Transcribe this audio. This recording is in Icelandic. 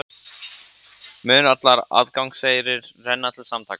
Mun allur aðgangseyrir renna til samtakanna